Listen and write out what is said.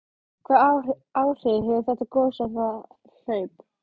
Hvaða áhrif hefur þetta gos á það hlaup?